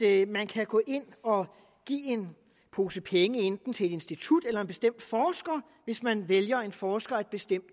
at man kan gå ind og give en pose penge enten til et institut eller en bestemt forsker hvis man vælger en forsker af et bestemt